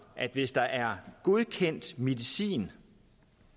at hvis der er godkendt medicin